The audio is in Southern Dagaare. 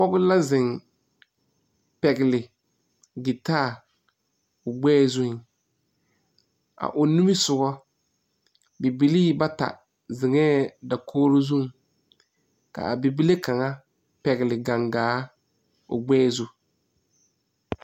Pɔgɔ la zeŋ pɛgle gitaa o gbɛɛ zuŋ. A o nimisɔgo, bibilii bata zeŋɛ dakogre zuŋ. Ka a bibile kanga pɛgle gangaa o gbɛɛ zu